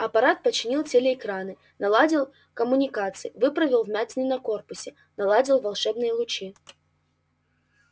апорат починил телеэкраны наладил коммуникации выправил вмятины на корпусе наладил волшебные лучи